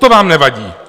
To vám nevadí.